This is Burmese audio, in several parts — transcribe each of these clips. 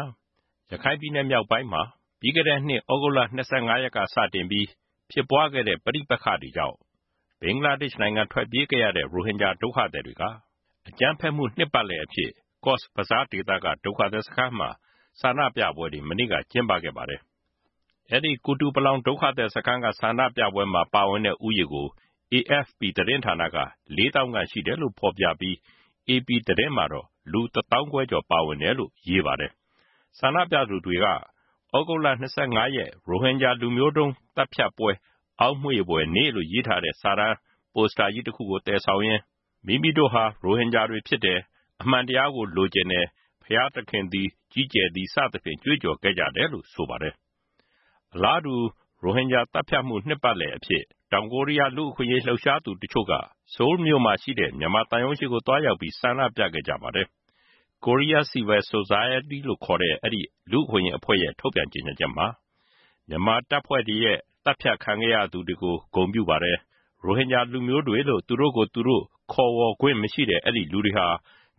ာ ရခိုင်ပြည်နယ်မြောက်ပိုင်းမှာ လွန်ခဲ့တဲ့နှစ် သြဂုတ်လ ၂၅ ကစတင်ပြီး ဖြစ်ပွားခဲ့တဲ့ ဆူပူအကြမ်းဖက်မှုတွေကြောင့် ဘင်္ဂလားဒေ့ရှ်နိုင်ငံ ထွက်ပြေးခဲ့ရတဲ့ ရိုဟင်ဂျာ ဒုက္ခသည်တွေက အကြမ်းဖက်မှု နှစ်ပတ်လည်အဖြစ် ကော့ဇ်ဘဇား ဒေသက ဒုက္ခသည်စခန်းတွေမှာ ဆန္ဒပြပွဲတွေ မနေ့က ကျင်းပခဲ့ပါတယ်။ ကုတုပလောင် ဒုက္ခသည်စခန်းက ဆန္ဒပြပွဲမှာ ပါဝင်တဲ့ လူဦးရေကို AFP သတင်းဌာနက ၄ သောင်းခန့် ရှိတယ်လို့ ဖော်ပြပြီး AP သတင်းမှာတော့ လူ တစ်သောင်းခွဲကျော် ပါဝင်တယ်လို့ ရေးပါတယ်။ ဆန္ဒပြသူတွေက သြဂုတ်လ ၂၅ ရက် ရိုဟင်ဂျာ လူမျိုးတုံး သတ်ဖြတ်ပွဲ အောက်မေ့ဖွယ်နေ့ လို့ ရေးသားထားတဲ့ ပိုစတာကြီးတစ်ခုကို သယ်ဆောင် ရင်း မိမိတို့ဟာ ရိုဟင်ဂျာတွေဖြစ်တယ်၊ အမှန်တရားကို လိုချင်တယ်၊ ဘုရားသခင်သည် ကြီးကျယ်သည် စသဖြင့် ကြွေးကြော်ခဲ့ကြတယ်လို့ ဆိုပါတယ်။ အလားတူ ရိုဟင်ဂျာသတ်ဖြတ်မှု နှစ်ပတ်လည်အဖြစ် တောင်ကိုရီးယား လူ့အခွင့်အရေး လှုပ်ရှားသူတချို့က ဆိုးလ်မြို့မှာ ရှိတဲ့ မြန်မာသံရုံးရှေ့ကို သွားရောက်ပြီး ဆန္ဒပြခဲ့ကြပါတယ်။ Korea Civil Society ဆိုတဲ့ အဲဒီ လူ့အခွင့်အရေးအဖွဲ့ရဲ့ ထုတ်ပြန်ကြေညာချက်မှာ မြန်မာတပ်ဖွဲ့တွေရဲ့ သတ်ဖြတ်ခံခဲ့ရသူတွေကို ဂုဏ်ပြုပါတယ်။ ရိုဟင်ဂျာလူမျိုးတွေလို့ သူတို့ကိုယ်သူတို့ ခေါ်ဝေါ်ခွင့်မရှိတဲ့ အဲဒီလူတွေဟာ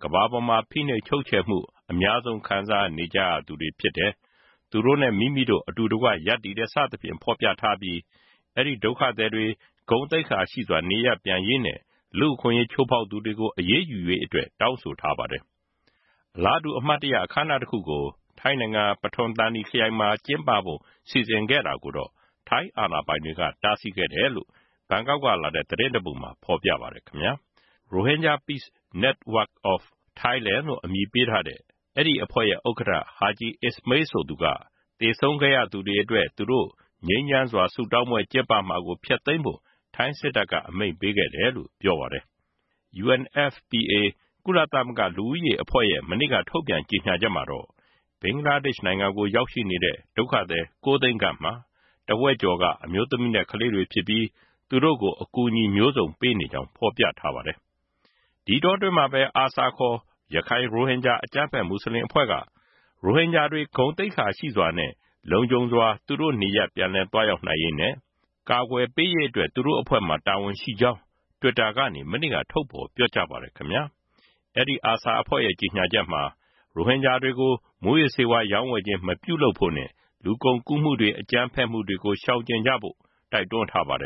ကမ္ဘာပေါ်မှာ ဖိနှိပ်ချုပ်ချယ်မှု အများဆုံး ခံစားနေကြရသူတွေဖြစ်တယ်။ သူတို့နဲ့ မိမိတို့ အတူတကွ ရပ်တည်တယ် စသဖြင့် ဖေါ်ပြထားပြီး အဲဒီ ဒုက္ခသည်တွေ ဂုဏ်သိက္ခာရှိစွာ နေရပ်ပြန်ရေးနဲ့ လူ့အခွင့်ရေးချိုးဖေါက်သူတွေကို အရေးယူရေးအတွက် တောင်းဆိုထားပါတယ်။ အလားတူ အမှတ်တရ အခမ်းအနားတစ်ခုကို ထိုင်းနိုင်ငံ ပထွမ်သန်နီခရိုင်မှာ ကျင်းပဖို့ စီစဉ်ခဲ့တာကိုတော့ ထိုင်းအာဏာပိုင်တွေက တားဆီးခဲ့တယ်လို့ ဘန်ကောက်ကလာတဲ့ သတင်းတစ်ပုဒ်မှာ ဖေါ်ပြပါတယ်။ Rohingya Pace Network of Thailand လု့ိအမည်ပေးထားတဲ့ အဲဒီအဖွဲ့ရဲ့ ဥက္ကဋ္ဌ ဟာဂျီ အစ်မေးလ်ဆိုသူက သေဆုံးခဲ့ရသူ တွေအတွက် သူတို့ ငြိမ်းချမ်းစွာ ဆုတောင်းပွဲကျင်းပမှာကို ဖျက်သိမ်းဖို့ ထိုင်း စစ်တပ်က အမိန့်ပေးခဲ့တယ်လို့ ပြောပါတယ်။ UNFPA ကုလသမဂ္ဂ လူဦးရေအဖွဲ့ရဲ့ မနေ့က ထုတ်ပြန်ကြေညာချက်မှာတော့ ဘင်္ဂလားဒေ့ရှ်နိုင်ငံကို ရောက်ရှိနေတဲ့ ဒုက္ခသည် ၉ သိန်းခန့်မှာ တစ်ဝက်ကျော်က အမျိုးသမီးနဲ့ ကလေးတွေဖြစ်ပြီး သူတို့ကို အကူအညီတွေ ပေးနေကြောင်း ဖေါ်ပြထားပါတယ်။ ဒီအတောအတွင်းမှာပဲ ARSA ခေါ် ရခိုင် ရိုဟင်ဂျာ အကြမ်းဖက်မွတ်စလင်အဖွဲ့က ရိုဟင်ဂျာတွေ ဂုဏ်သိက္ခာရှိစွာနဲ့ လုံခြုံစွာ သူတို့နေရပ် ပြန်လည်သွားရောက်နိုင်ရေးနဲ့ ကာကွယ်ပေးရေးအတွက် သူတို့အဖွဲ့မှာ တာဝန်ရှိကြောင်း တွစ်တာကနေ မနေ့က ထုတ်ဖေါ်ပြောကြားပါတယ်။ အာဆာအဖွဲ့ရဲ့ ကြေညာချက်မှာ ရိုဟင်ဂျာတွေကို မူးယစ်ဆေးဝါးရောင်းဝယ်ခြင်း မပြုလုပ်ဖို့နဲ့ လူကုန်ကူးမှုတွေ အကြမ်းဖက်မှုတွေကို ရှောင်ကျဉ်ကြဖို့လည်း တိုက်တွန်းထားပါတယ